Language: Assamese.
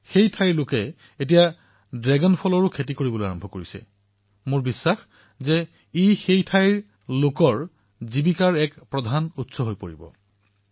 তেওঁলোকে এতিয়া ড্ৰেগন ফলৰ খেতি আৰম্ভ কৰি দিছে আৰু মোৰ বিশ্বাস যে অতি শীঘ্ৰেই ই সেই ঠাইৰ জনসাধাৰণৰ আজীৱিকাৰ মুখ্য স্ৰোত হিচাপে পৰিগণিত হব